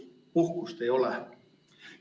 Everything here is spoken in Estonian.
Puhkust ei ole.